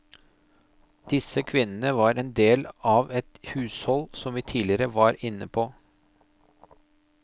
Disse kvinnene var en del av et hushold som vi tidligere var inne på.